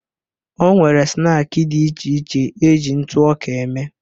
O nwere snaakị dị iche iche eji ntụ ọka eme